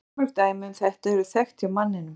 Fjölmörg dæmi um þetta eru þekkt hjá manninum.